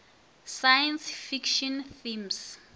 science fiction themes